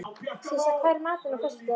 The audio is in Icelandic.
Sissa, hvað er í matinn á föstudaginn?